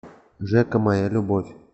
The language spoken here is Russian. жека моя любовь